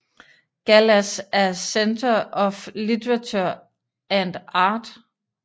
Gall as a Centre of Literature and Art